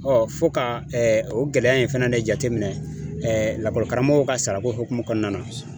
fo ka o gɛlɛya in fana ne jateminɛ lakɔli karamɔgɔw ka sarako hukumu kɔnɔna na.